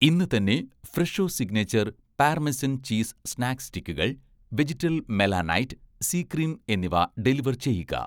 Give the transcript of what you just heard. ഇന്ന് തന്നെ 'Fresho signature' parmesan cheese snack സ്റ്റിക്കുകൾ, വെജിറ്റൽ മെലാനൈറ്റ്-സി ക്രീം എന്നിവ ഡെലിവർ ചെയ്യുക